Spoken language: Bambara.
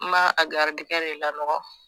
N m'a a garidigɛn de lanɔgɔn